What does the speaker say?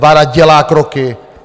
Vláda dělá kroky.